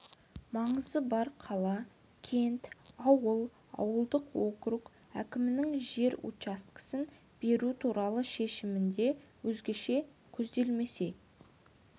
маңызы бар қала кент ауыл ауылдық округ әкімінің жер учаскесін беру туралы шешімінде өзгеше көзделмесе